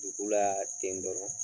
Dugu la ten dɔrɔn